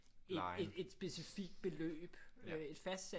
Et specifikt beløb et fastsat